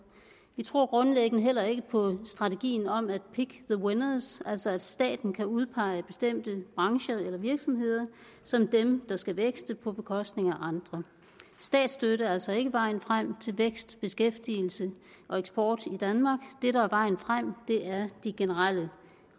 vi tror grundlæggende heller ikke på strategien om pick the winners altså at staten kan udpege bestemte brancher eller virksomheder som dem der skal vækste på bekostning af andre statsstøtte er altså ikke vejen frem til vækst beskæftigelse og eksport i danmark det der er vejen frem er de generelle